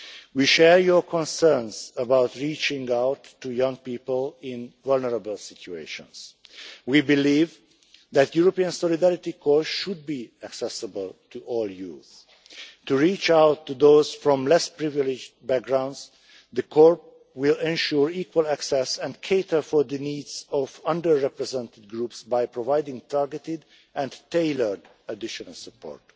We share your concerns about reaching out to young people in vulnerable situations. We believe that the European Solidarity Corps should be accessible to all youth. To reach out to those from less privileged backgrounds the Corps will ensure equal access and cater for the needs of under represented groups by providing targeted and tailored additional support.